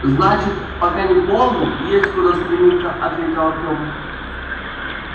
значит пока не полный есть куда стремиться ответил артем